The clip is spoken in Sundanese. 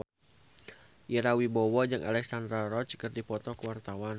Ira Wibowo jeung Alexandra Roach keur dipoto ku wartawan